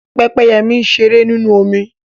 Pẹ́pẹ́yẹ mi ṣeré nínú omi